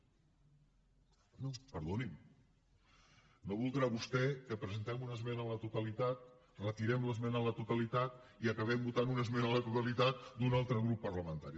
perdonin no voldrà vostè que presentem una esmena a la totalitat retirem l’esmena a la totalitat i acabem votant una esmena a la totalitat d’un altre grup parlamentari